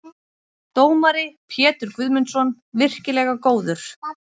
Dómari: Pétur Guðmundsson- virkilega góður.